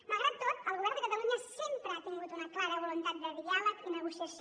malgrat tot el govern de catalunya sempre ha tingut una clara voluntat de diàleg i negociació